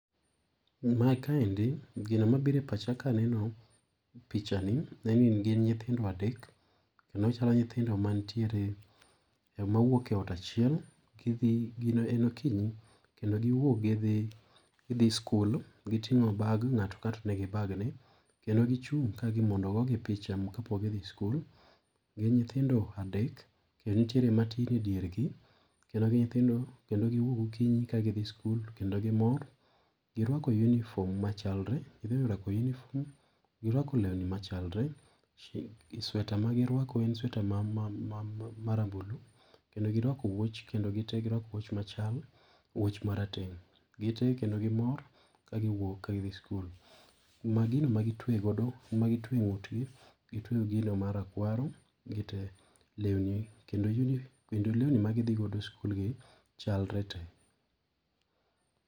Ma kaendi gino mabiro e pacha ka aneno pichani en ni gin nyithindo adek kendo chalo nyithindo mantiere mawuok e ot achiel gidhi ,en okinyi kendo giwuok gidhi sikul ,gitingo bag, ngato ka ngato ni gi bag ne kendo gichung' mondo ogogi picha ka pok gidhi school , gin nyithindo adek kendo nitiere matin e dier gi kendo giwuok gokinyi ka gidhi school kendo gimor, giruako uniform machalre, nyithindo oruako uniform machalre giruako uniform machalre, sweater magi ruako en sweater marambulu kendo giruako wuoch, kendo gi tee giruako wuoch machal wuoch marateng gitee kendo gimor ka gi wuok ka gidhi school ,ma gino magi tueyo e ngut gi gitueyo gino marakwaro gitee lewnini kendo lewni magi dhi godo sikul chalre tee.